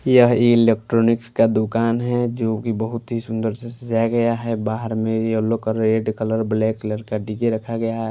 यह इलेक्ट्रॉनिक्स का दुकान है जो कि बहुत ही सुंदर से सजाया गया है बाहर में येलो का रेड कलर ब्लैक कलर का डीजे रखा गया --